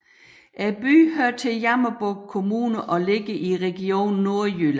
Byen hører til Jammerbugt Kommune og ligger i Region Nordjylland